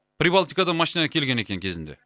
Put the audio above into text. прибалтикадан машина әкелген екен кезінде